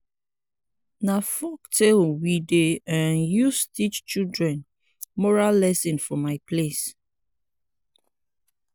na folktale we dey um use teach children moral lesson for my place.